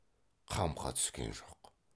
қамқа түскен жоқ